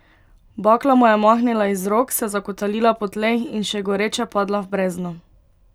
Bakla mu je omahnila iz rok, se zakotalila po tleh in še goreča padla v brezno.